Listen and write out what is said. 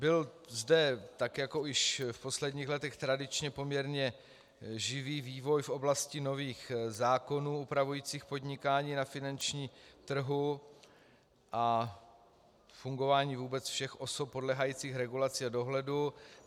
Byl zde, tak jako již v posledních letech tradičně, poměrně živý vývoj v oblasti nových zákonů upravujících podnikání na finančním trhu a fungování vůbec všech osob podléhajících regulaci dohledu.